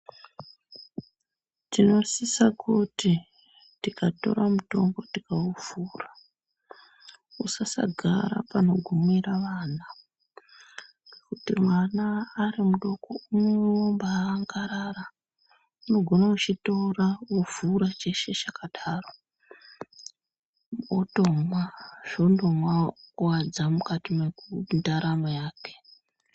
Tinosisa kuti tikatora mutombo tikauvhura usasagara panogumira vana nokuti mwana ari mudoko unobaangarara unogona kuchitora ovhura ochishiye chakadaro otomwa zvondovakuwadza mukati mendaramo yake .